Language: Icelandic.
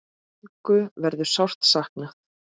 Helgu verður sárt saknað.